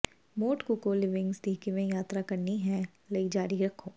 Mont ਕੁਕੋ ਲਿਵਿੰਗਸ ਦੀ ਕਿਵੇਂ ਯਾਤਰਾ ਕਰਨੀ ਹੈ ਲਈ ਜਾਰੀ ਰੱਖੋ